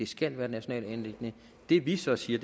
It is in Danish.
skal være et nationalt anliggende det vi så siger